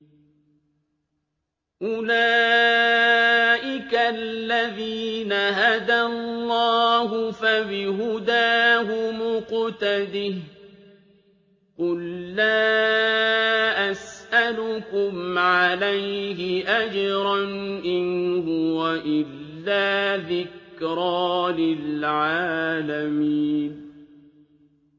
أُولَٰئِكَ الَّذِينَ هَدَى اللَّهُ ۖ فَبِهُدَاهُمُ اقْتَدِهْ ۗ قُل لَّا أَسْأَلُكُمْ عَلَيْهِ أَجْرًا ۖ إِنْ هُوَ إِلَّا ذِكْرَىٰ لِلْعَالَمِينَ